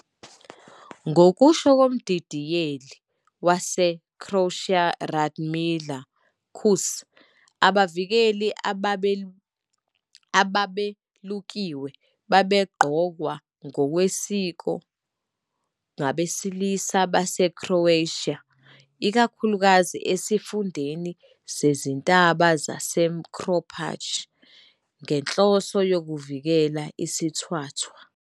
Ngokusho komdidiyeli waseCroatia uRadmila Kus, abavikeli ababelukiwe babegqokwa ngokwesiko ngabesilisa baseCroatia, ikakhulukazi esifundeni sezintaba saseMrkopalj, njengenhloso yokuvikela isithwathwa.